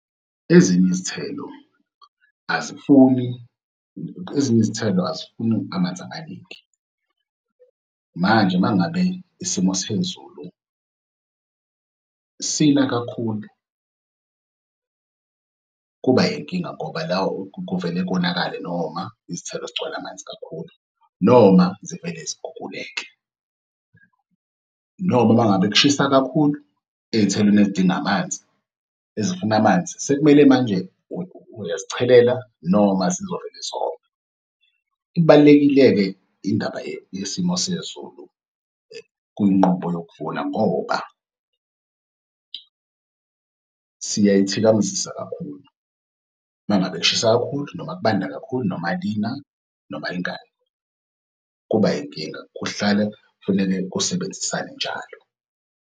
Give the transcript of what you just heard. Ezinye izithelo azifuni, ezinye izithelo azifuni amanzi amaningi. Manje uma ngabe isimo sezulu sina kakhulu, kuba yinkinga ngoba la kuvele konakale noma izithelo zigcwale amanzi kakhulu noma zivele ziguguleke. Noma uma ngabe kushisa kakhulu ey'thelweni ezidinga amanzi ezifuna amanzi, sekumele manje uyazichelela noma zizovele zome. Ibalulekile-ke indaba yesimo sezulu kunqubo yokuvuna ngoba s iyayethikamezisa kakhulu uma ngabe kushisa kakhulu noma kubanda kakhulu noma lina noma lingani, kuba inkinga, kuhlale kufuneke kusebenzisane njalo.